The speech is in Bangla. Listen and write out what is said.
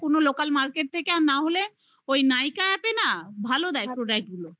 গিয়ে কোন local market থেকে আর না হলে ওই nykaa app না ভালো দেয় product গুলো